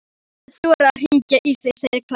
Ég hef ekki þorað að hringja í þig, segir Klara.